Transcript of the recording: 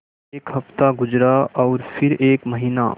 एक हफ़्ता गुज़रा और फिर एक महीना